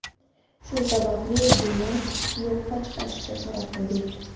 Shu sababli buni yo‘qqa chiqarishga qaror qildik.